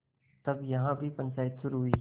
तब यहाँ भी पंचायत शुरू हुई